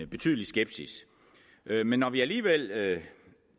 betydelig skepsis men når vi alligevel